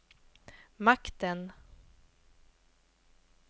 makten